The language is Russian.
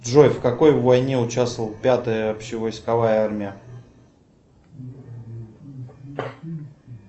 джой в какой войне участвовала пятая общевойсковая армия